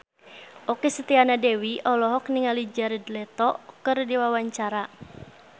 Okky Setiana Dewi olohok ningali Jared Leto keur diwawancara